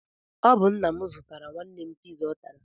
Ọ bụ nna m zụtara nwanne m piza ọ tara.